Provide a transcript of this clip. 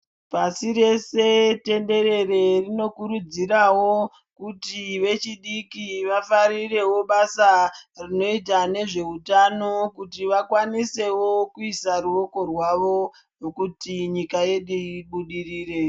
Pasireshe tenderere rinokurudzirawo kuti vechidiki vafarirewo basa rinoita nezveutano, kuti vakwanisewo kuisawo ruoko rwavo nekuti nyika yedu ibudirire.